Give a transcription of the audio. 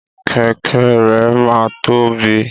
Kẹkẹ rẹ máa tóbi.